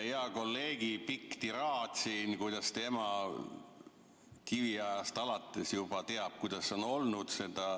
Heal kolleegil oli pikk tiraad siin, kuidas tema kiviajast alates juba teab, kuidas see on olnud.